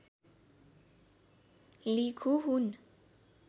लिखु हुन्